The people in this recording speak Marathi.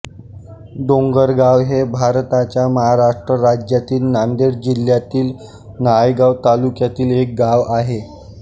डोंगरगाव हे भारताच्या महाराष्ट्र राज्यातील नांदेड जिल्ह्यातील नायगाव तालुक्यातील एक गाव आहे